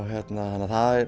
þannig að það